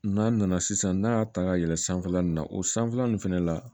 N'a nana sisan n'a y'a ta ka yɛlɛn sanfɛla in na o sanfɛla ninnu fɛnɛ la